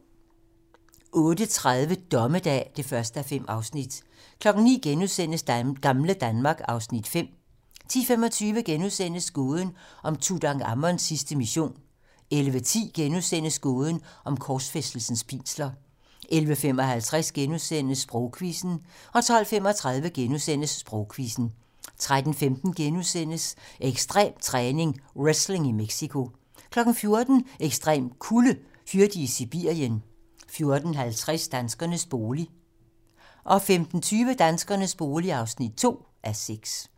08:30: Dommedag (1:5) 09:00: Gamle Danmark (Afs. 5)* 10:25: Gåden om Tutankhamons sidste mission * 11:10: Gåden om korsfæstelsens pinsler * 11:55: Sprogquizzen * 12:35: Sprogquizzen * 13:15: Ekstrem træning: Wrestling i Mexico * 14:00: Ekstrem kulde: Hyrde i Sibirien 14:50: Danskernes bolig 15:20: Danskernes bolig (2:6)